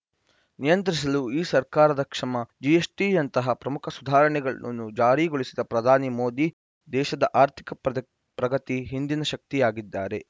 ನಿಯಂತ್ರಿಸಲು ಈ ಸರ್ಕಾರದ ಶ್ರಮ ಜಿಎಸ್‌ಟಿಐಯಂತಹ ಪ್ರಮುಖ ಸುಧಾರಣೆಗಳನ್ನು ಜಾರಿಗೊಳಿಸಿದ ಪ್ರಧಾನಿ ಮೋದಿ ದೇಶದ ಆರ್ಥಿಕ ಪ್ರಗತಿ ಹಿಂದಿನ ಶಕ್ತಿಯಾಗಿದ್ದಾರೆ